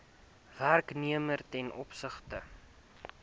werknemer ten opsigte